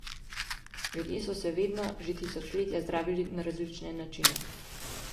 Ljudje so se vedno, že tisočletja, zdravili na različne načine.